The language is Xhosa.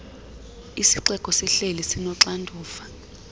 isixeko sihleli sinoxanduva